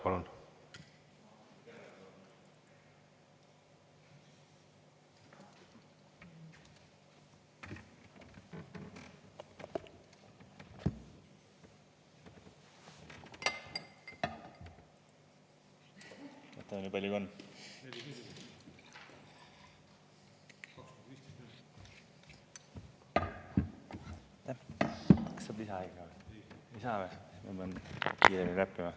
Palun!